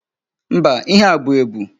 Mba, ihe a bụ ebu?